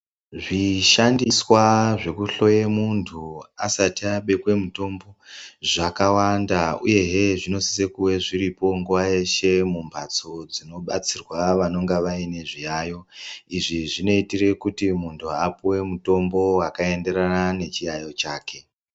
Zvishandiswa zvekuhloya muntu asati abekwe mutombo zvakawanda uyezve zvosise ngunge zviripo nguwa yeshe mumbatso dzobatsirwa vanenge vane zviyaiyo izvi zvinoita kuti muntu apiwe mutombo wakaenderana nechiyaiyo chake.